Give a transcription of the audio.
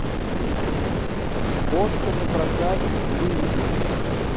кошка напрокат выведи мне